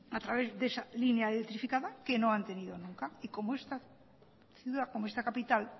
a través de esa línea electrificada que no han tenido nunca y como esta capital